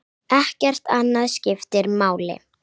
Ekkert annað skiptir máli.